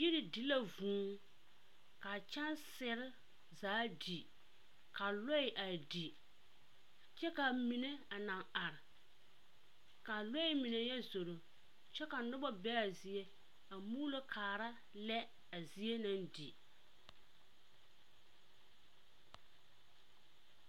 Yiri di la vŭŭ, a kyɛnsere zaa di, ka lɔɛ a di, kyɛ ka a mine a naŋ are. K'a lɔɛ mine yɔ zoro kyɛ ka nobɔ be'a zie a muulokaara lɛ a zie naŋ di.